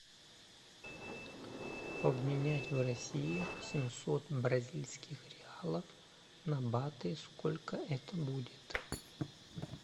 обменять в россии семьсот бразильских реалов на баты сколько это будет